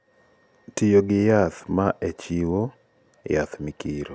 Tiyo gi yadh ma e chiwo yath mikiro.